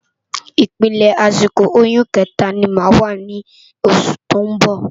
Ipélé àsikó óyùn ikètá ni má wá ni ósù tó n bò